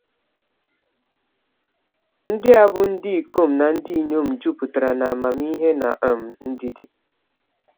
Ndị a bụ ndị ikom na ndị inyom “jupụtara n’amamihe na um ndidi.”